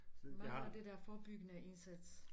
Mangler det der forebyggende indsats